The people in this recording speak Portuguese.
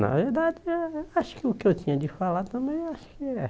Na verdade, né acho que o que eu tinha de falar também, acho que